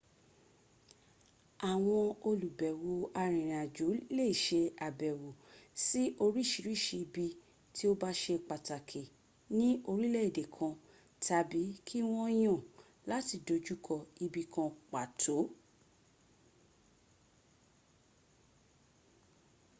awọn olubẹwo arinrinajo le ṣe abẹwo si oriṣiriṣi ibi ti o ba ṣe pataki ni orilẹ ede kan tabi ki wọn yan lati dojukọ ibikan pato